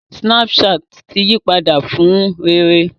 Snapchat ti yí padà fún rere